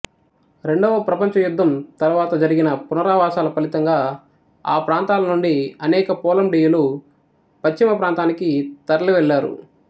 రెండవ ప్రపంచ యుద్ధం తరువాత జరిగిన పునరావాసాల ఫలితంగా ఆ ప్రాంతాల నుండి అనేక పోలండీయులు పశ్చిమ ప్రాంతానికి తరలివెళ్లారు